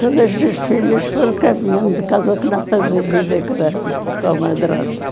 Todas as filhas foram caminhando de casa, que não fazem vida com a com a madrasta.